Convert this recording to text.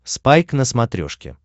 спайк на смотрешке